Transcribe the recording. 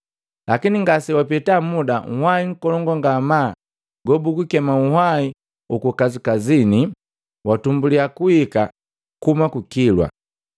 Lakini ngase wapeta muda, nhwai nkolongu ngamaa gobugukema, “Nhwai huku kasikasini.” Watumbuliya kuhika kuhuma ku kilwa.